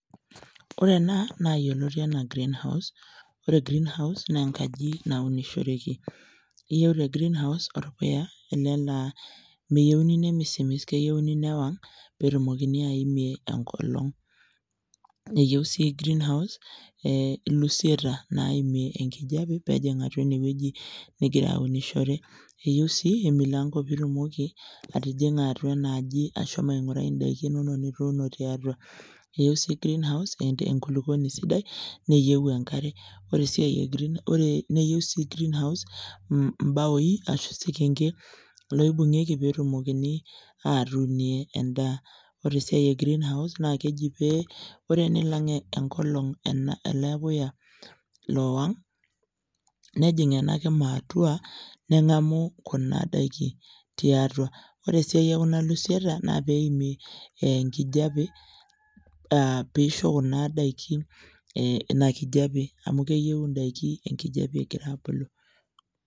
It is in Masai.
Ore naa naa yioloti enaa green house iyieu tr green house orpuya ele laaa nemisismis keyieu newang peetumoki aimie enkolong niyieu sii green house eeeh ilusieta naaimie inkijiape ene ninkira aunishore eyieiu sii emilanko peitumoki atijing'a atua enaaji ashomo aing'urai indaiki inonok nituuno tiatua eyieu sii green house enkulupuoni sidai neeiu enkare eyieu sii imbaai peetumokini aatuunie endaa ore esia enye naa pee ore peilang enkolong ele puya lowang nejing ena kima atua nen'agamu kuna kudaiki tiatua ore esiai ekuna lusieta naa pee eimie enkijiape aa peisho kuna daiki eee ina kijiape amu keiyieu indaiki enkijiape egira aabulu.